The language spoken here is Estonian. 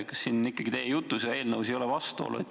Kas ikkagi teie jutus ja eelnõus ei ole vastuolu?